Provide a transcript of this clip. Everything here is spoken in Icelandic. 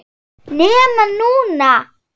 NEMA NÚNA!!!